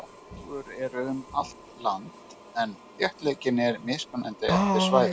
Tófur eru um allt land en þéttleikinn er mismunandi eftir svæðum.